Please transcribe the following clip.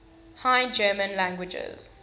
high german languages